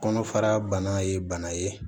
Kɔnɔfara bana ye bana ye